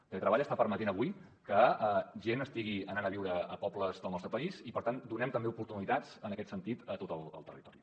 el teletreball està permetent avui que gent estigui anant a viure a pobles del nostre país i per tant donem també oportunitats en aquest sentit a tot el territori